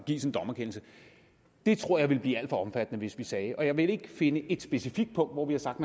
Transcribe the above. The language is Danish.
gives en dommerkendelse jeg tror det ville blive alt for omfattende hvis vi sagde det og jeg vil ikke finde et specifikt punkt hvor vi har sagt